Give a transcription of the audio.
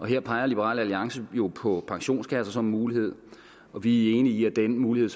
her peger liberal alliance jo på pensionskasser som en mulighed og vi er enige i at den mulighed